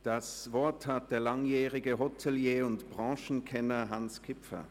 Das Wort hat der langjährige Hotelier und Branchenkenner Hans Kipfer.